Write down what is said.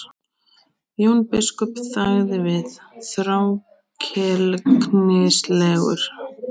Jón biskup þagði við, þrákelknislegur.